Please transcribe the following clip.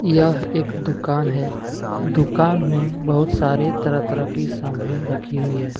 यह एक दुकान है दुकान में बहुत सारे तरह तरह की समान रखी हुई है।